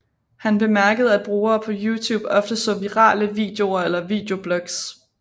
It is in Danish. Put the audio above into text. Han bemærkede at brugere på YouTube ofte så virale videoer eller videoblogs